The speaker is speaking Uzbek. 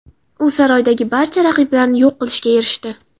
U saroydagi barcha raqiblarini yo‘q qilishga erishdi.